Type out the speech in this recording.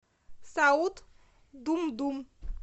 саут думдум